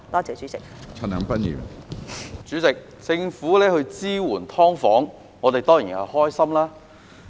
主席，政府支援"劏房戶"，我們當然開心。